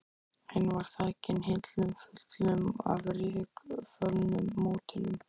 Hinn var þakinn hillum fullum af rykföllnum módelum.